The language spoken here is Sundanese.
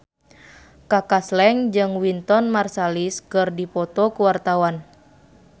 Kaka Slank jeung Wynton Marsalis keur dipoto ku wartawan